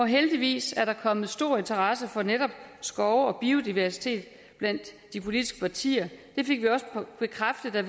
heldigvis er der kommet stor interesse for netop skove og biodiversitet blandt de politiske partier det fik vi bekræftet da